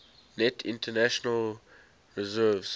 net international reserves